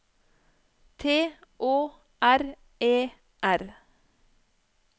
T Å R E R